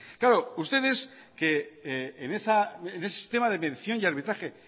claro ustedes que en ese sistema de mención y arbitraje